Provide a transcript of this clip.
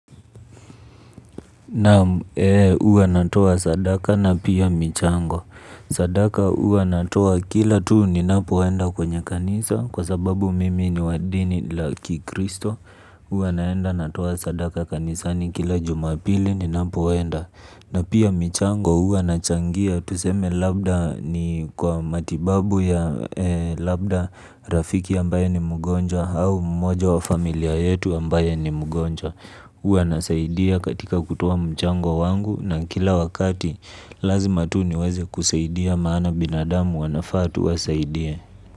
Naam huwa natoa sadaka na pia michango. Sadaka uwa natoa kila tuu ni napoenda kwenye kanisa. Kwa sababu mimi ni wadini laki kristo huwa naenda natoa sadaka kanisani kila juma pili ninapo enda. Na pia michango huwa nachangia. Tuseme labda ni kwa matibabu ya labda rafiki ambaye ni mgonjwa. Au mmoja wa familia yetu ambaye ni mgonjwa. Uwa nasaidia katika kutoa mchango wangu na kila wakati lazima tu ni waze kusaidia maana binadamu wanafaa tu wasaidie.